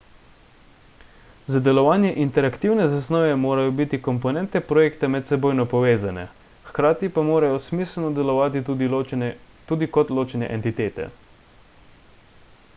za delovanje interaktivne zasnove morajo biti komponente projekta medsebojno povezane hkrati pa morajo smiselno delovati tudi kot ločene entitete